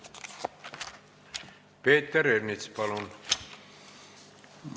Peeter Ernits, palun!